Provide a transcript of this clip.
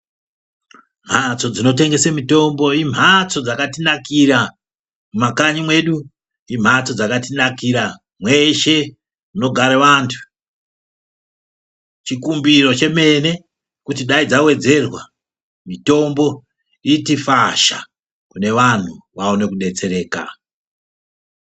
Mhatso dzinotengese mitombo imhatso dzakatinakira mumakanyi mwedu. Imhatso dzakatinakira mweshe munogara vantu. Chikumbiro chemene kuti dai dzawedzerwa mitombo iyi fasha kune vanhu vaone kudetsereka.